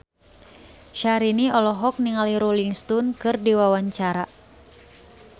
Syahrini olohok ningali Rolling Stone keur diwawancara